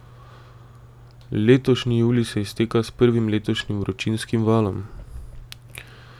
Letošnji julij se izteka s prvim letošnjim vročinskim valom.